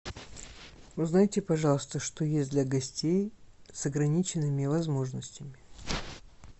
узнайте пожалуйста что есть для гостей с ограниченными возможностями